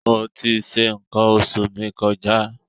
Mo ti ṣe nǹkan oṣù mi kọjá.